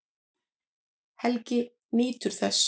Helgi nýtur þess.